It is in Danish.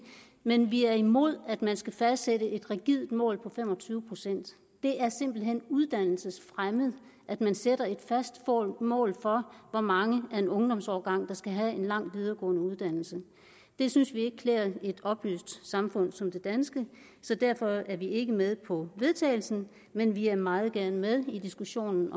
men vi er imod at man skal fastsætte et rigidt mål på fem og tyve procent det er simpelt hen uddannelsesfremmed at man sætter et fast mål for hvor mange af en ungdomsårgang der skal have en lang videregående uddannelse det synes vi ikke klæder et oplyst samfund som det danske så derfor er vi ikke med på forslaget vedtagelse men vi er meget gerne med i diskussionen